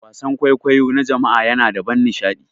Wasan kwaikwayo na jama'a yana da ban nishaɗi.